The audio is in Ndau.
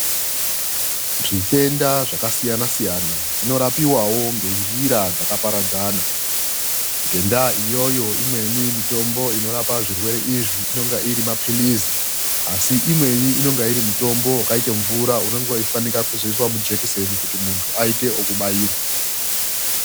Zvitenda zvakasiyana siyana zvinorapiwawo ngenjira dzakaparadzana. Ngendaa iyoyo imweni mitombo inorapa zvirwere izvi inonga iri maphilizi asi imweni inenge iri mitombo yakaitaka mvura inoiswa mujekiseni kuti muntu aite ekubairwa.